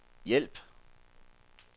hjælp